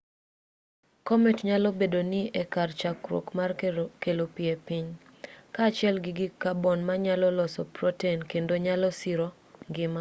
komet nyalo bedo ni e kar chakruok mar kelo pi e piny kaachiel gi gik kabon manyalo loso proten kendo nyalo siro ngima